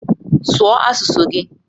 Sụọ asụsụ gị!